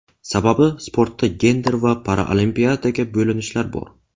Sababi sportda gender va paraolimpiadaga bo‘linishlar bor.